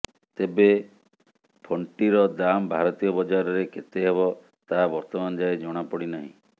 ତେବେ ଫୋନ୍ଟିର ଦାମ୍ ଭାରତୀୟ ବଜାରରେ କେତେ ହେବ ତାହା ବର୍ତ୍ତମାନ ଯାଏ ଜଣାପଡ଼ି ନାହିଁ